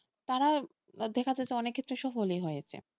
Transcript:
তারা দেখা যাচ্ছে অনেক ক্ষেত্রে সফলই হয়েছে।